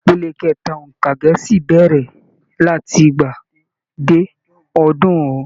Ìpele kẹta óńka gẹẹsi bẹrẹ láti igba dé ọdunrun.